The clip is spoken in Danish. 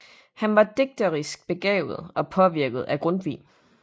Han var digterisk begavet og påvirket af Grundtvig